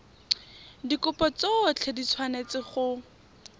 dikopo tsotlhe di tshwanetse go